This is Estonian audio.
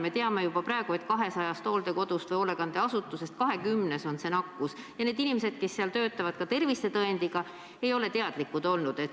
Me teame juba praegu, et 200 hooldekodust või hoolekandeasutusest 20-s on see nakkus sees, ja need inimesed, kes seal töötavad – ka tervisetõendiga –, ei ole sellest teadlikud olnud.